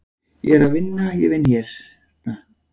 Ég er að vinna, ég vinn hérna.